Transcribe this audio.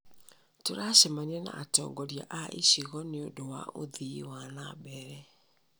Tũracemania na atongoria a icigo nĩ ũndũ wa ũthii wa na mbere.